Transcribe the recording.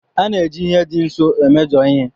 A na-eji ihe dị nso emeshọ ihe.